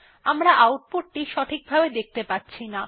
আমরা আউটপুট সঠিকভাবে দেখতে পাচ্ছিনা